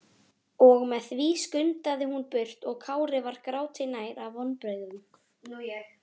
Og með því skundaði hún burt og Kári var gráti nær af vonbrigðum.